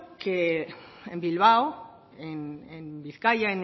que en bilbao en bizkaia